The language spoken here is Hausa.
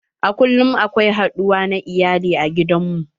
A kullum akwai haduwa na iyali a gidan mu.